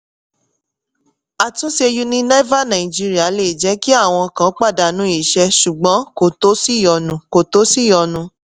àtúnṣe unilever nigeria lè jẹ́ kí àwọn kan pàdánù iṣẹ́ ṣùgbọ́n kò tó ṣìyọnu. kò tó ṣìyọnu.